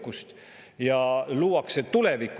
Reformierakond väidab, et ettepanekuid ei ole tehtud.